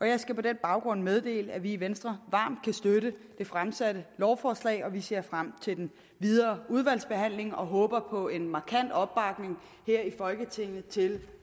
jeg skal på den baggrund meddele at vi i venstre varmt kan støtte det fremsatte lovforslag og vi ser frem til den videre udvalgsbehandling og håber på en markant opbakning her i folketinget til